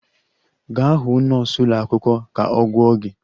Gaa hụ nọọsụ ụlọ akwụkwọ ka a gwọọ gị!